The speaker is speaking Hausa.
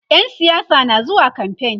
ƴan siyasa na zuwa kamfain